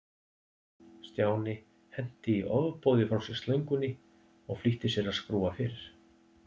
Stjáni henti í ofboði frá sér slöngunni og flýtti sér að skrúfa fyrir.